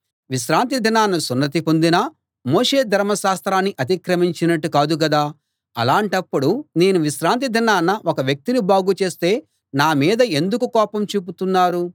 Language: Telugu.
విశ్రాంతి దినాన సున్నతి పొందినా మోషే ధర్మ శాస్త్రాన్ని అతిక్రమించినట్టు కాదు గదా అలాంటప్పుడు నేను విశ్రాంతి దినాన ఒక వ్యక్తిని బాగు చేస్తే నా మీద ఎందుకు కోపం చూపుతున్నారు